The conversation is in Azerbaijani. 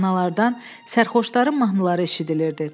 Meyxanalardan sərxoşların mahnıları eşidilirdi.